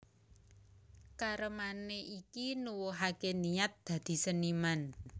Karemané iki nuwuhaké niat dadi seniman